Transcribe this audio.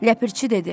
Ləpirçi dedi: